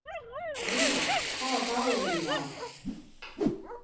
Luna, hvaða dagur er í dag?